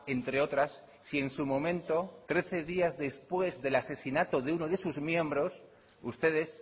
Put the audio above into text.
entre otras si en su momento trece días después del asesinato de uno de sus miembros ustedes